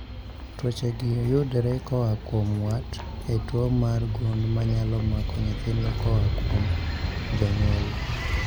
Tuoche gi yudore koa kuom wat e tuo mar gund manyalo mako nyithindo koa kuom jonyuol